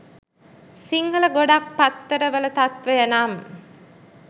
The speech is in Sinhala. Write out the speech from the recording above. සිංහල ගොඩක් පත්තර වල තත්වය නම්